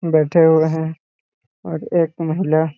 बैठे हुए है और एक महिला--